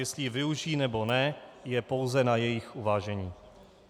Jestli ji využijí, nebo ne, je pouze na jejich uvážení.